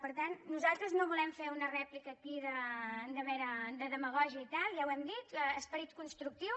per tant nosaltres no volem fer una rèplica aquí de demagògia i tal ja ho hem dit esperit constructiu